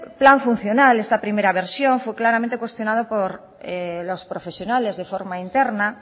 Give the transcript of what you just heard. plan funcional esta primera versión fue claramente cuestionado por los profesionales de forma interna